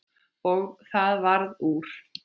Og það varð úr.